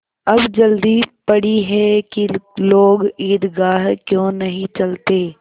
अब जल्दी पड़ी है कि लोग ईदगाह क्यों नहीं चलते